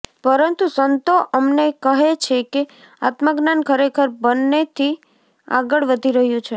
પરંતુ સંતો અમને કહે છે કે આત્મજ્ઞાન ખરેખર બન્નેથી આગળ વધી રહ્યું છે